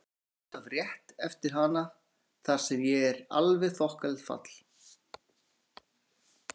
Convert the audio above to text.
Við förum út af rétt eftir hana þar sem er alveg þokkalegt fall.